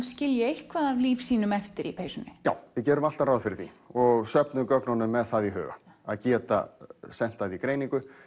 skilji eitthvað af lífsýnum eftir í peysunni já við gerum alltaf ráð fyrir því og söfnum gögnunum með það í huga að geta sent það í greiningu